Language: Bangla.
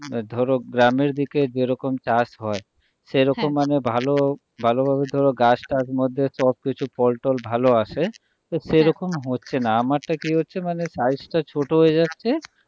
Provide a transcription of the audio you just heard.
ধরো গ্রামের দিকে যেরকম চাষ হয় সেরকম মানে হ্যাঁ ভালো ভালোভাবে তো ওরা গাছটাছের মধ্যে সবকিছু ফলটল ভালো আসে তো সেরকম হচ্ছেনা আমারটা কি হচ্ছে মানে size টা ছোট হয়ে যাচ্ছে,